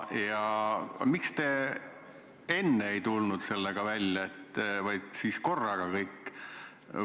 Miks te enne sellega välja ei tulnud, vaid tulite korraga kõik?